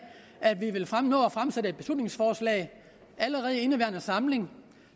at vi når at fremsætte et beslutningsforslag i indeværende samling